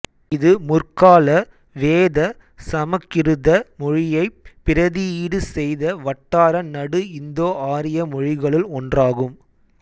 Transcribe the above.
இது முற்கால வேதச் சமக்கிருத மொழியைப் பிரதியீடு செய்த வட்டார நடு இந்தோஆரிய மொழிகளுள் ஒன்றாகும்